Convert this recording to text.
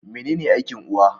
Mene ne aikin uwa?